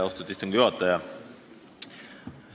Austatud istungi juhataja!